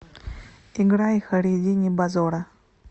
играй хайриддини бозора